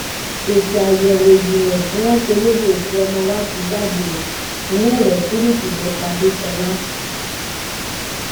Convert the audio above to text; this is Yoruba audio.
èsì àyẹwò ìjìnlẹ tí wọn ṣe lórí òkú ọmọ wa ti jáde ó iná elétíríìkì ló pa dẹsọlà